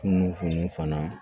Kunun funnu fana